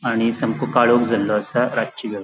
आणि सामको काळोख जाल्लो आसा --